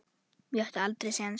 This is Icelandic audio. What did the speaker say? Ég átti aldrei séns.